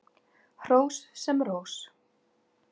Hrós sem rós.